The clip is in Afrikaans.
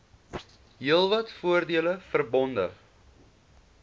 heelwat voordele verbonde